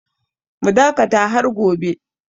Mu dakata har gobe!